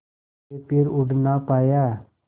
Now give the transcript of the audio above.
के फिर उड़ ना पाया